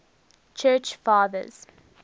church fathers